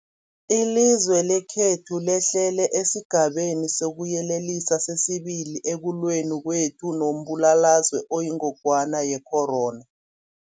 Ilizwe lekhethu lehlele esiGabeni sokuYelelisa sesi-2 ekulweni kwethu nombulalazwe oyingogwana ye-corona.